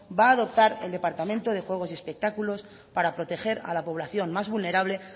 va a adoptar el departamento de juegos y espectáculos para proteger a la población más vulnerable